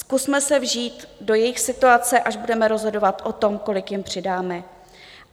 Zkusme se vžít do jejich situace, až budeme rozhodovat o tom, kolik jim přidáme.